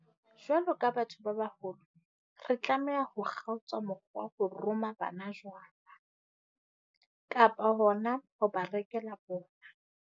Jwalo ka batho ba baholo, re tlameha ho kgaotsa mokgwa wa ho roma bana jwala, kapa hona ho ba rekela bona.